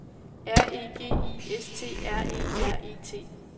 R E G I S T R E R E T